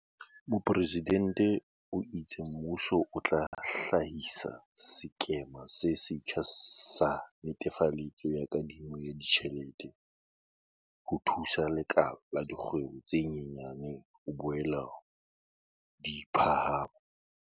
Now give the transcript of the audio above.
Mopresidente o itse mmuso o tla hlahisa sekema se setjha sa netefaletso ya kadimo ya ditjhelete ho thusa lekala la dikgwebo tse nyenyane ho boela di phahama.